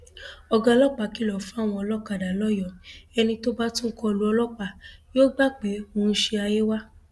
ọgá ọlọpàá kìlọ fáwọn olókàdá lọyọọ ẹni tó bá tún kọ lu ọlọpàá yóò gbà pé òun ṣí ayé wa